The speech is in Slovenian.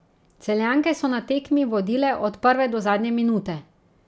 Celjanke so na tekmi vodile od prve do zadnje minute.